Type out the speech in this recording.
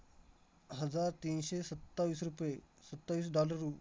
हजार तीनशे सत्तावीस रुपये, सत्तावीस dollar रु